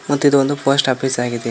ಮತ್ತು ಇದೊಂದು post office ಆಗಿದೆ.